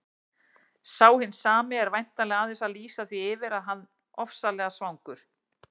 Sá hinn sami er væntanlega aðeins að lýsa því yfir að hann ofsalega svangur.